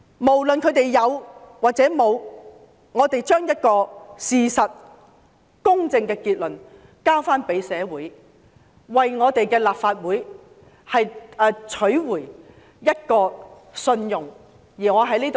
無論他們有沒有做過甚麼，我們都把事實及公正的結論交給社會，為我們的立法會取回公信力。